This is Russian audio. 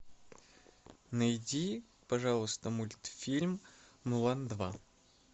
найди пожалуйста мультфильм мулан два